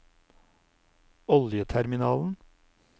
oljeterminalen